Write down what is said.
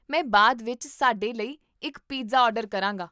ਮੈਂ ਬਾਅਦ ਵਿੱਚ ਸਾਡੇ ਲਈ ਇੱਕ ਪੀਜ਼ਾ ਆਰਡਰ ਕਰਾਂਗਾ